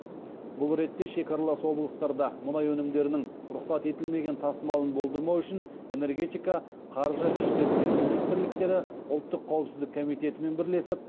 бұл ретте шекаралас облыстарда мұнай өнімдерінің рұқсат етілмеген тасымалын болдырмау үшін энергетика қаржы ішкі істер министрліктері ұлттық қауіпсіздік комитетімен бірлесіп